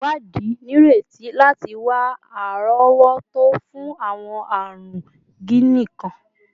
Iwadi nireti lati wa arowoto fun awọn arun jiini kan